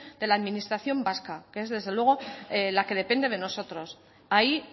de la administración vasca que es desde luego la que depende de nosotros ahí